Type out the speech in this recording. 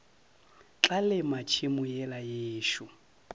tla lema tšhemo yela yešo